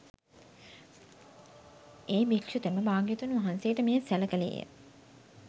ඒ භික්‍ෂුතෙම භාග්‍යවතුන් වහන්සේට මෙය සැල කෙළේය